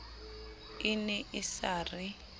e ne e sa re